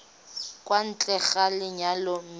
kwa ntle ga lenyalo mme